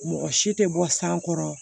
Mɔgɔ si tɛ bɔ san kɔrɔ